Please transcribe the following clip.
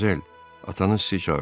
Madmazel, atanız sizi çağırır.